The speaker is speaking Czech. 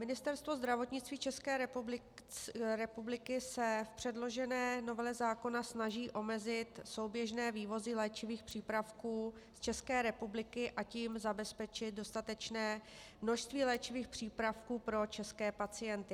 Ministerstvo zdravotnictví České republiky se v předložené novele zákona snaží omezit souběžné vývozy léčivých přípravků z České republiky, a tím zabezpečit dostatečné množství léčivých přípravků pro české pacienty.